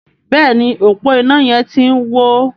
Béèni ọpo iná yén tí ń wọ.